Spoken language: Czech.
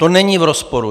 To není v rozporu.